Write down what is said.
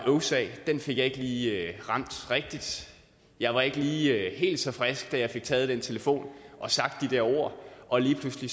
øvsag den fik jeg ikke lige ramt rigtigt jeg var ikke lige helt så frisk da jeg fik taget den telefon og sagt de der ord og lige pludselig